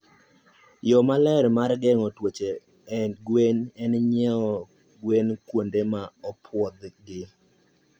Yo maler mar gengo tuoche en ng'iew nyithi gwen kuonde ma opwodhi.